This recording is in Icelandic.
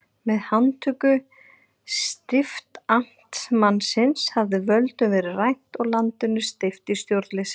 Með handtöku stiftamtmannsins hafði völdum verið rænt og landinu steypt í stjórnleysi.